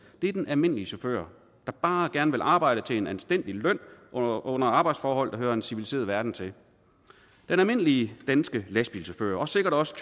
er den almindelige chauffør der bare gerne vil arbejde til en anstændig løn under under arbejdsforhold der hører en civiliseret verden til den almindelige danske lastbilchauffør og sikkert også